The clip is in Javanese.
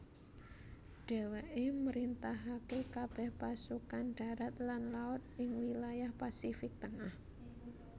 Dheweke mrintahake kabeh pasukan darat lan laut ingwilayah Pasifik Tengah